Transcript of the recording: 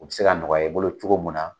U bɛ se ka nɔgɔya i bolo cogo min na.